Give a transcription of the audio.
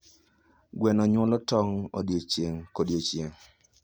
Gweno nyuolo tong' odiechieng' kodiechieng'.